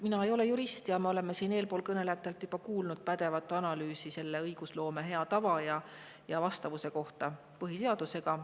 Mina ei ole jurist ja me oleme eespool kõnelejatelt juba kuulnud pädevat analüüsi õigusloome hea tava ja vastavuse kohta põhiseadusega.